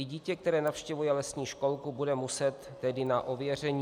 I dítě, které navštěvuje lesní školku, bude muset tedy na ověření.